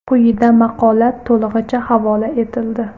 Quyida maqola to‘lig‘icha havola etildi.